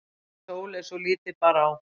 sagði Sóley svo lítið bar á.